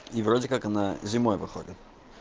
и вроде как она зимой выходит